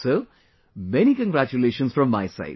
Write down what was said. So, many congratulations from my side